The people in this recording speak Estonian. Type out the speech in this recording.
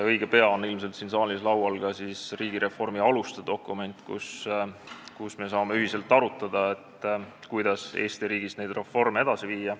Õige pea on ilmselt siin saalis laual ka riigireformi aluste dokument, siis me saame ühiselt arutada, kuidas Eesti riigis neid reforme edasi viia.